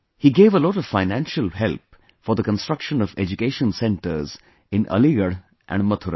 He gave a lot of financial help for the construction of education centers in Aligarh and Mathura